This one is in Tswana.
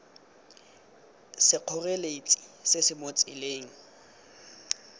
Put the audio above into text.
sekgoreletsi se se mo tseleng